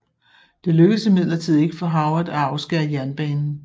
Det lykkedes imidlertid ikke for Howard at afskære jernbanen